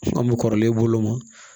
An bɛ kɔrɔlen e bolo ma